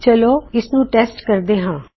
ਚਲੋ ਇਸਨੂੰ ਟੈੱਸਟ ਕਰਦੇ ਹਾਂ